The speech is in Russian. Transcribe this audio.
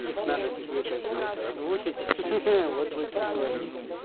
их надо тебе как бы это озвучить ха-ха вот будет прикольно